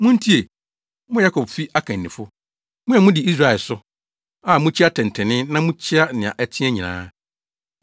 Muntie, mo Yakobfi akannifo, mo a mudi Israel so, a mukyi atɛntrenee na mokyea nea ɛteɛ nyinaa;